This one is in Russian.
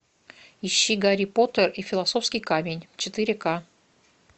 ищи гарри поттер и философский камень четыре ка